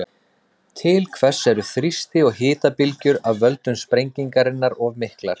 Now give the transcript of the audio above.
Til þess eru þrýsti- og hitabylgjur af völdum sprengingarinnar of miklar.